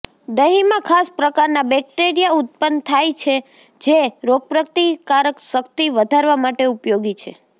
દહીંમાં ખાસ પ્રકારના બેક્ટેરિયા ઉત્પન્ન થાય છે જે રોગપ્રતિકારકશક્તિ વધારવા માટે ઉપયોગી છે